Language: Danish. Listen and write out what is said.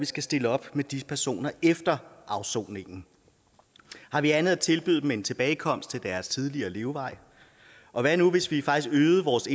skal stille op med de personer efter afsoningen har vi andet at tilbyde dem end tilbagekomst til deres tidligere levevej og hvad nu hvis vi faktisk øgede vores